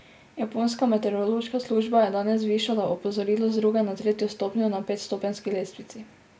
Japonska meteorološka služba je danes zvišala opozorilo z druge na tretjo stopnjo na petstopenjski lestvici.